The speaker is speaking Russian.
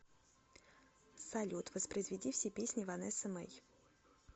салют воспроизведи все песни ванессы мэй